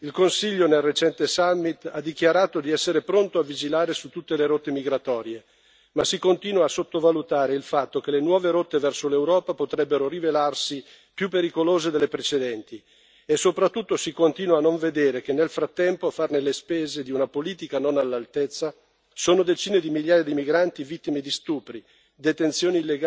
ha dichiarato di essere pronto a vigilare su tutte le rotte migratorie, ma si continua a sottovalutare il fatto che le nuove rotte verso l'Europa potrebbero rivelarsi più pericolose delle precedenti e soprattutto si continua a non vedere che, nel frattempo, a fare le spese di una politica non all'altezza sono decine di migliaia di migranti vittime di stupri, detenzioni illegali e abusi di ogni sorta.